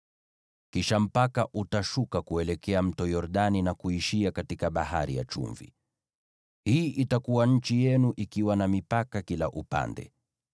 Kisha mpaka utashuka kuelekea Mto Yordani na kuishia katika Bahari ya Chumvi. “ ‘Hii itakuwa nchi yenu, ikiwa na mipaka yake kila upande.’ ”